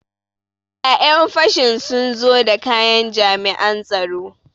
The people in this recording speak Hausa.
Ƴan fashin sun zo da kayan jami'an tsaro.